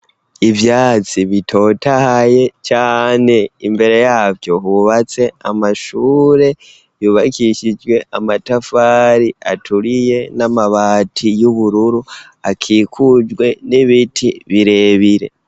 Ivyatsi bitotahaye cane imbere yavyo hubatse amashure yubakishijwe amatafari aturiye n'amabati y'ubururu, akikujwe n'ibiti birebire.